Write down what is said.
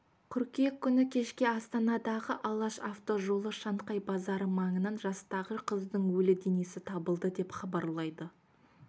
қыркүйек күні кешке астанадағы алаш автожолы шанхай базары маңынан жастағы қыздың өлі денесі табылды деп хабарлайды